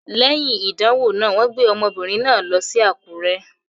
Léyìn ìdánwò náà, wọ́n gbé ọmọbìnrin náà lọ sí Àkúrẹ́.